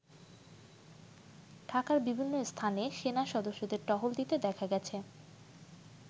ঢাকার বিভিন্ন স্থানে সেনা সদস্যদের টহল দিতে দেখা গেছে।